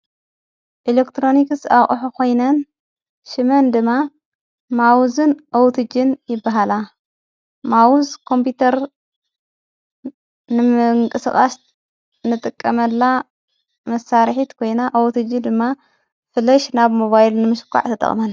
ኤለክጥሮኒክስ ኣቕሕ ኾይነን ሽመን ድማ ማውዝን ኦውትጅን ይበሃላ ማዉዝ ቆምጵተር ንምንቂስቓስ ንጥቀመላ መሳርሒት ኮይና ኣውትጅ ድማ ፍለሽ ናብ ሞባይል ንምሽቋዕ ተጠቕመን።